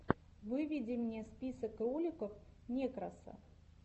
выведи мне список роликов некроса